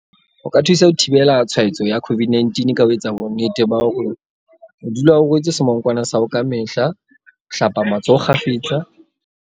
O ka thusa ho thibela tshwa etso ya COVID-19 ka ho etsa bonnete ba.